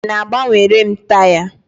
Ị na-agbanwere m taya?